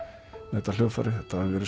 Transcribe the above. þetta hljóðfæri þetta hafi verið